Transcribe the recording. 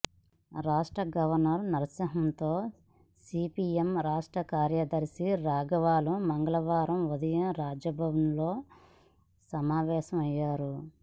రాష్ట్ర గవర్నర్ నరసింహన్తో సిపిఎం రాష్ట్ర కార్యదర్శి రాఘవులు మంగళవారం ఉదయం రాజ్భవన్లో సమావేశమయ్యారు